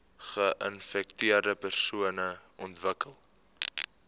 geinfekteerde persone ontwikkel